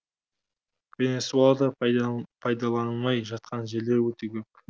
венесуэлада пайдаланылмай жатқан жерлер өте көп